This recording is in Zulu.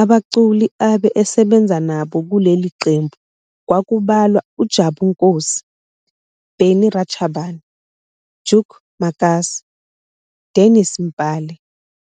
Abaculi abe esebenza nabo kuleli qembu kwakubalwa uJabu Nkosi, Barney Rachabane, Duke Makasi, Dennis Mpale